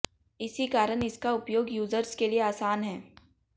इसी कारण इसका उपयोग यूजर्स के लिए आसान है